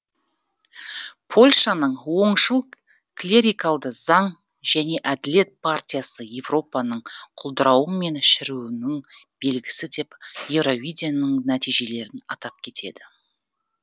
польшаның оңшыл клерикалды заң және әділет партиясы еуропаның құлдаруы мен шіріуіның белгісі деп еуровиденің нәтежиелерін атап кетеді